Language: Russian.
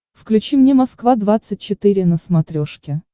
включи мне москва двадцать четыре на смотрешке